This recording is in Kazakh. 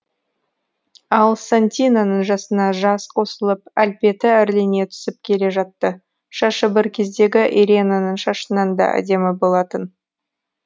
ал сантинаның жасына жас қосылып әлпеті әрлене түсіп келе жатты шашы бір кездегі иренаның шашынан да әдемі болатын